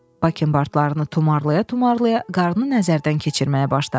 Lakın bığlarını tumarlaya-tumarlaya qarın nəzərdən keçirməyə başladı.